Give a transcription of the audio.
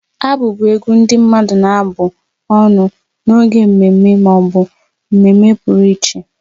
Agụ bụ egwu ndị mmadụ na-abụ ọnụ n'oge mmemme ma ọ bụ mmemme pụrụ iche.